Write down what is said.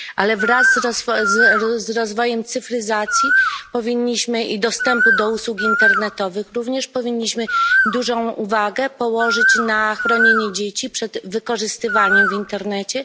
Ale wraz z rozwojem cyfryzacji i dostępu do usług internetowych również powinniśmy dużą uwagę zwrócić na chronienie dzieci przed wykorzystywaniem w internecie.